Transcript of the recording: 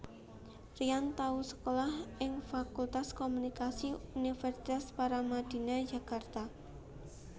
Ryan tau sekolah ing Fakultas Komunikasi Universitas Paramadina Jakarta